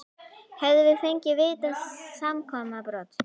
Hefðum við fengið víti á samskonar brot?